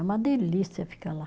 É uma delícia ficar lá.